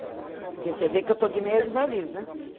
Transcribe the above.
Qual o nome? Porque você vê que eu estou de meia de variz, né?